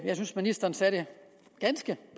ministeren sagde det ganske